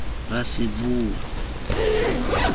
raseboa